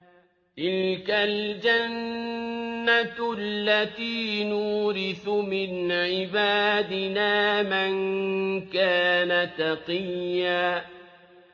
تِلْكَ الْجَنَّةُ الَّتِي نُورِثُ مِنْ عِبَادِنَا مَن كَانَ تَقِيًّا